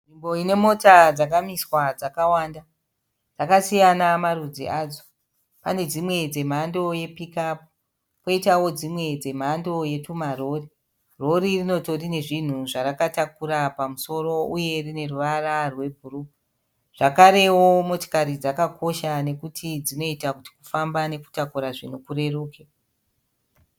Nzvimbo ine mota dzakamiswa dzakawanda, dzakasiyana marudzi adzo pane dzimwe dzemhando yepikapu poitawo dzimwe dzemhando yetumarori. Rori rinotori nezvinhu zvarakataukura pamusoro uye rine ruvara rwebhuru. Zvekarewo mota dzakakosha pakufamba dzinoita kuti kufamba neutakura zvinhu kureruke.